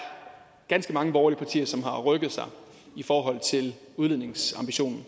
ganske mange borgerlige partier som har rykket sig i forhold til udledningsambitionen